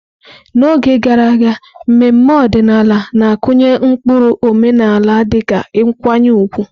N'oge gara aga, mmemme ọdịnala na-akụnye ụkpụrụ omenala dịka nkwanye ùgwù.